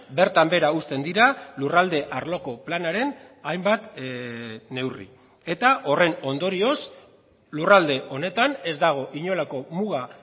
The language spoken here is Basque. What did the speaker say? bertan behera uzten dira lurralde arloko planaren hainbat neurri eta horren ondorioz lurralde honetan ez dago inolako muga